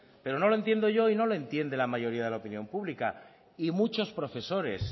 pero no lo entiendo yo y no lo entiende la mayoría de la opinión pública y muchos profesores